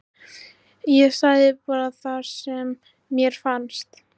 Ég sagði bara það sem mér fannst.